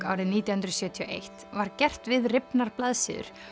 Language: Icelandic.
árið nítján hundruð sjötíu og eitt var gert við rifnar blaðsíður